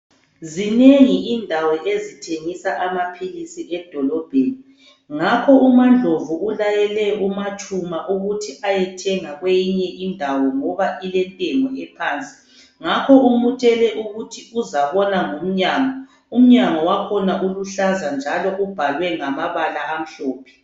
Zinengi indawo ezithengisa amaphilisi edolobheni, ngakho umaNdlovu ulayele umaTshuma ukuthi ayethenga kweyinye indawo ngoba ilentengo ephansi, ngakho umutshele ukuthi uzabona ngomnyango, umnyango wakhona uluhlaza njalo ubhalwe ngamabala amhlophe.